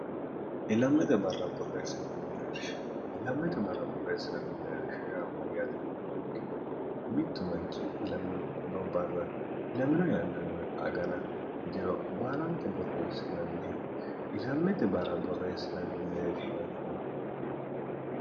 ilmshilammete barra borreessinanni merirsh yaamma yaatinu mayikkiro mittu manchi ilamiono barra ilamino yannanna agana diro baalanta borreessinanniha ilammete barra borreessinanni mereershitinnni